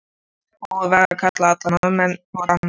Búið var að kalla alla Norðmenn og Dani.